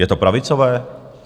Je to pravicové?